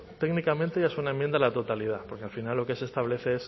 técnicamente ya es una enmienda a la totalidad porque al final lo que se establece